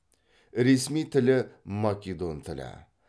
ресми тілі македон тілі